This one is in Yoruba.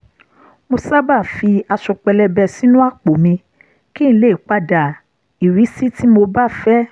mo sábà fi aṣọ pẹ̀lẹbẹ sínú àpò mi kí n lè pa dà irísí tí mo bá fẹ́